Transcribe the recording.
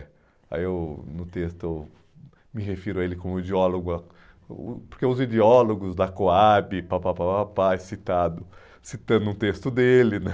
Aí eu, no texto, me refiro a ele como ideólogo, ah porque os ideólogos da Coab, pá, pá, pá, pá, citado, citando um texto dele, né?